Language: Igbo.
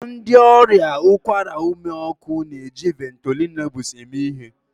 Ndị ọrịa ụkwara ume ọkụ na-eji Ventolin Nebules eme ihe